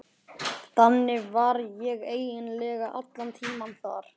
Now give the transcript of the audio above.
Þannig var ég eiginlega allan tímann þar.